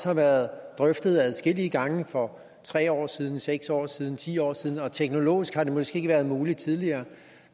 har været drøftet adskillige gange for tre år siden seks år siden ti år siden og teknologisk har det måske ikke været muligt tidligere